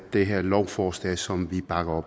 det her et lovforslag som vi bakker